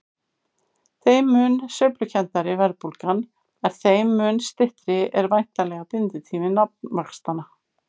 Þeim mun sveiflukenndari verðbólgan er þeim mun styttri er væntanlega binditími nafnvaxtanna.